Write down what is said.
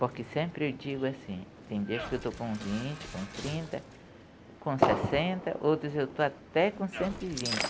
Porque sempre eu digo assim, tem dias que eu estou com vinte, com trinta, com sessenta, outros eu estou até com cento e vinte.